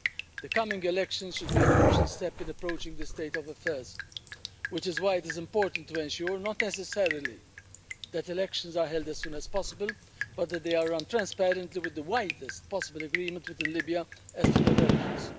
The coming elections should be a crucial step in approaching this state of affairs, which is why it is important to ensure not necessarily that elections are held as soon as possible but that they are run transparently, with the widest possible agreement with Libya as to their relevance.